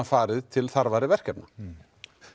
farið til þarfari verkefna